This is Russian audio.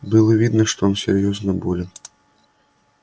было видно что он серьёзно болен